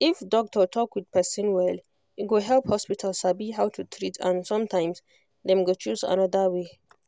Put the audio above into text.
if doctor talk with person well e go help hospital sabi how to treat and sometimes dem go choose another way